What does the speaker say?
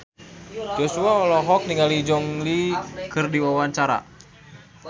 Joshua olohok ningali Gong Li keur diwawancara